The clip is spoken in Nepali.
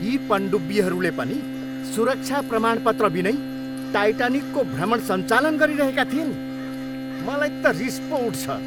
यी पनडुब्बीहरूले पनि सुरक्षा प्रमाणपत्र बिनै टाइटानिकको भ्रमण सञ्चालन गरिरहेका थिए नि। मलाई त रिस पो उठ्छ।